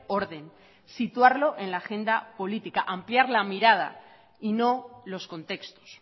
orden situarlo en la agenda política ampliar la mirada y no los contextos